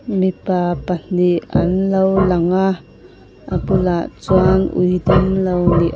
mipa pahnih an lo lang a a bulah chuan ui dam lo ni --